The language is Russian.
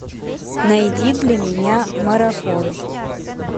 найди для меня марафон